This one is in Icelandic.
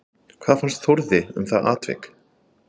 Hvað fannst Þórði um það atvik?